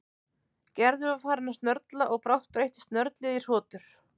Gerður var farin að snörla og brátt breyttist snörlið í hrotur.